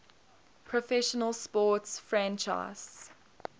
professional sports franchise